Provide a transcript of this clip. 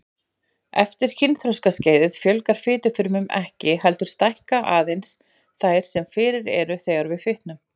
Eftir kynþroskaskeiðið fjölgar fitufrumum ekki, heldur stækka aðeins þær sem fyrir eru þegar við fitnum.